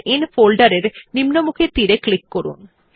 save in ফোল্ডের এর নিম্নমুখী তীর ক্লিক করুন